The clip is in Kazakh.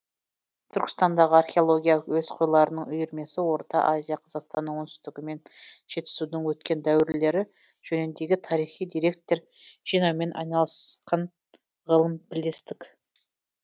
түркістандағы археология әуесқойларының үйірмесі орта азия қазақстанның оңтүстігі мен жетісудың өткен дәуірлері жөніндегі тарихи деректер жинаумен айналысқан ғылым бірлестік